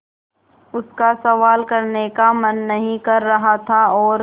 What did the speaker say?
उसका सवाल करने का मन नहीं कर रहा था और